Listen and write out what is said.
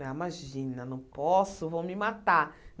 Ah imagina, não posso, vão me matar.